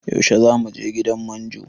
Yaushe zamu je gidan manjo?